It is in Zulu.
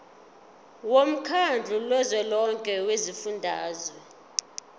womkhandlu kazwelonke wezifundazwe